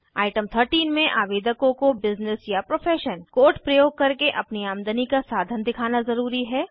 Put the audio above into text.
item 13 में आवेदकों को बिज़नेस या प्रोफ़ेशन कोड प्रयोग करके अपनी आमदनी का साधन दिखाना ज़रूरी है